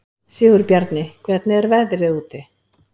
Sigurbjarni, hvernig er veðrið úti?